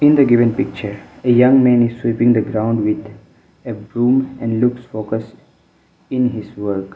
in the given picture a young man is sweeping the ground with a broom and looks focus in his work.